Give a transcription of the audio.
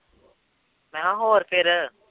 ਮੈਂ ਕਿਹਾ ਹੋਰ ਫਿਰ